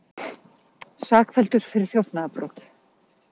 Sakfelldur fyrir þjófnaðarbrot